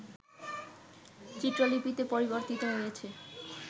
চিত্রলিপিতে পরিবর্তিত হয়েছে